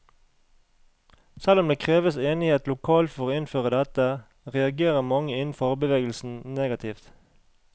Selv om det kreves enighet lokalt for å innføre dette, reagerer mange innen fagbevegelsen negativt.